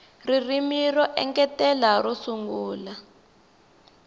ririmi ro engetela ro sungula